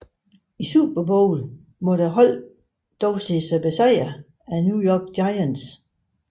I Super Bowl måtte holdet dog se sig besejret af New York Giants